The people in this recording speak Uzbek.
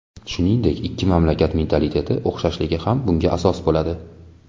Shuningdek ikki mamlakat mentaliteti o‘xshashligi ham bunga asos bo‘ladi.